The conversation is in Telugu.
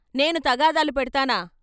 "" నేను తగాదాలు పెడ్తానా?